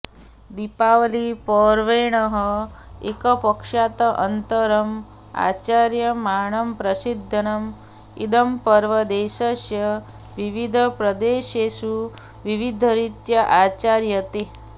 दीपावली पर्वणः एकपक्षात् अनन्तरम् आचर्यमाणं प्रसिद्धम् इदं पर्व देशस्य विविधप्रदेशेषु विविधरीत्या आचर्यते